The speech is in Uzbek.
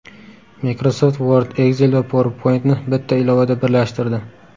Microsoft Word, Excel va PowerPoint’ni bitta ilovada birlashtirdi.